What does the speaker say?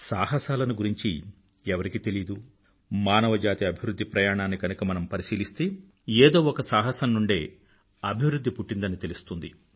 సాహసాలను గురించి ఎవరికి తెలీదు మానవజాతి అభివృధ్ధి ప్రయాణాన్ని గనుక మనం పరిశీలిస్తే ఏదో ఒక సాహసం నుండే అభివృధ్ధి పుట్టిందని తెలుస్తుంది